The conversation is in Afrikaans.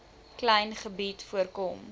klein gebied voorkom